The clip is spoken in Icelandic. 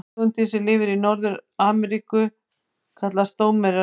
Tegundin sem lifir í Norður-Afríku kallast drómedari.